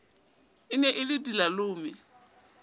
e ne e le dilalome